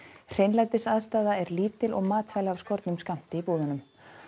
hreinlætisaðstaða er lítil og matvæli af skornum skammti í búðunum